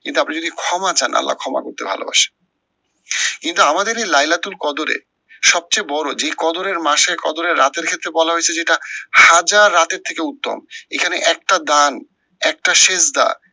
কিন্তু আপনি যদি ক্ষমা চান আল্লাহ ক্ষমা করতে ভালোবাসে। কিন্তু আমাদের এই লাইলাতুল কদরে সব চেয়ে বড় যে কদরের মাসের কদরে রাতের ক্ষেত্রে বলা হয়েছে যেটা, হাজার রাতের থেকে উত্তম এখানে একটা দান একটা শেষ দান